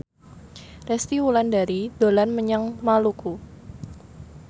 Resty Wulandari dolan menyang Maluku